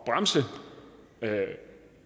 bremse